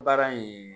Baara in